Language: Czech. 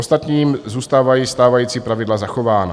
Ostatním zůstávají stávající pravidla zachována.